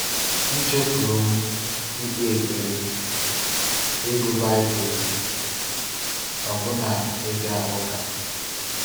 Mchefuru m ikpe ekpere, ịgụ Baịbụl m, ọbụna ịga ụka.